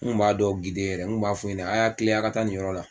N Kun b'a dɔw gide yɛrɛ n Kun b'a f'u yɛnɛ a y'a kilen a ka taa nin yɔrɔ la